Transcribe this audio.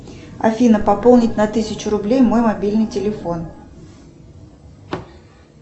афина пополнить на тысячу рублей мой мобильный телефон